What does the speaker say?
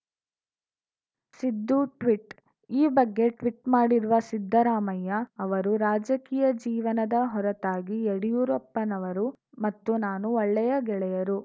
Siddu tweet ಈ ಬಗ್ಗೆ tweet ಮಾಡಿರುವ ಸಿದ್ದರಾಮಯ್ಯ ಅವರು ರಾಜಕೀಯ ಜೀವನದ ಹೊರತಾಗಿ ಯಡಿಯೂರಪ್ಪನವರು ಮತ್ತು ನಾನು ಒಳ್ಳೆಯ ಗೆಳೆಯರು